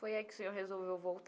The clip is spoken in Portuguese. Foi aí que o senhor resolveu voltar?